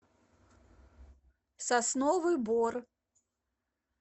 сосновый бор